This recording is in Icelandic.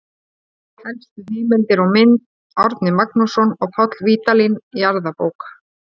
Helstu heimildir og mynd: Árni Magnússon og Páll Vídalín, Jarðabók.